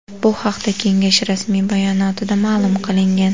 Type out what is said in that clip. Bu haqda kengash rasmiy bayonotida ma’lum qilingan .